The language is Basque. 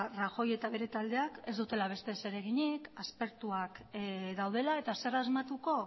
rajoy eta bere taldeak ez dutela beste zer eginik aspertuak daudela eta zer asmatuko